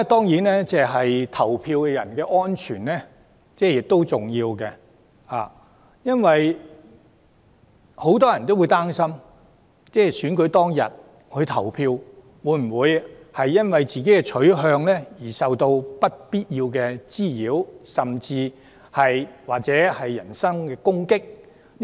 此外，投票人士的安全亦十分重要，很多人曾擔心自己在選舉當日因投票取向而受到不必要的滋擾甚至攻擊。